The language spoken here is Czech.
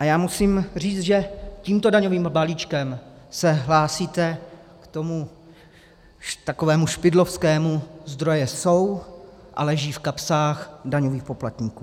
A já musím říct, že tímto daňovým balíčkem se hlásíte k tomu takovému špidlovskému - zdroje jsou a leží v kapsách daňových poplatníků.